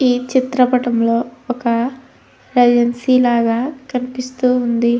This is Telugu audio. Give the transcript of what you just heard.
ఈ చిత్ర పాఠం లో ఒక కరెన్సీ లాగా కనిపిస్తూ ఉంది.